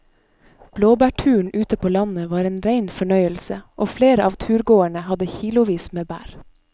Blåbærturen ute på landet var en rein fornøyelse og flere av turgåerene hadde kilosvis med bær.